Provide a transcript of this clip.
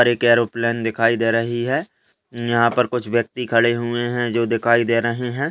एक एरोप्लेन दिखाई दे रही है यहां पर कुछ व्यक्ति खड़े हुए हैं जो दिखाई दे रहे हैं।